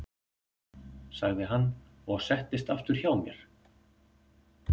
sagði hann og settist aftur hjá mér.